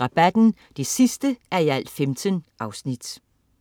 Rabatten 15:15*